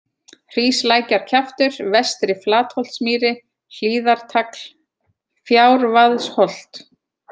Hríslækjarkjaftur, Vestri-Flatholtsmýri, Hlíðartagl, Fjárvaðsholt